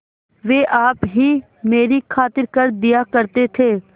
वे आप ही मेरी खातिर कर दिया करते थे